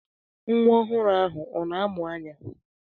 Nwa ọhụrụ ahụ ọ na amụ anya?